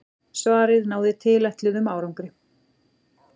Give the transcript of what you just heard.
Svarið náði tilætluðum árangri.